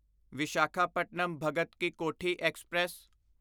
Visakhapatnam Bhagat ki Kothi express